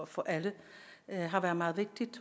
for alle har været meget vigtigt